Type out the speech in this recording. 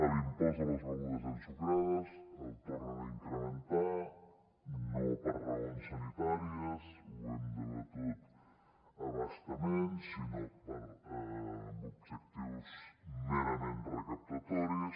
l’impost a les begudes ensucrades el tornen a incrementar no per raons sanitàries ho hem debatut a bastament sinó amb objectius merament recaptatoris